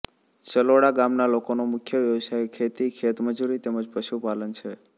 ચલોડા ગામના લોકોનો મુખ્ય વ્યવસાય ખેતી ખેતમજૂરી તેમ જ પશુપાલન છે